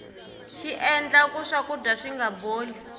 xiendla ku swakudya swinga boli